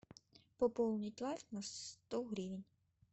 пополнить лайф на сто гривен